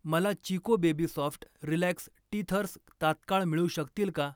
मला Chicco baby soft relax teethers तात्काळ मिळू शकतील का?